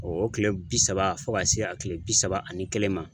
O tile bi saba fo ka se a tile bi saba ani kelen ma